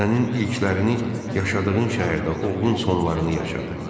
Sənin ilklərini yaşadığın şəhərdə oğlun sonlarını yaşadı.